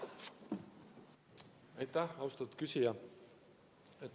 Aitäh, austatud küsija!